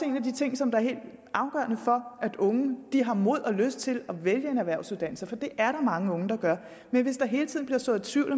en af de ting som er helt afgørende for at unge har mod og lyst til at vælge en erhvervsuddannelse for det er der mange unge der gør men hvis der hele tiden bliver sået tvivl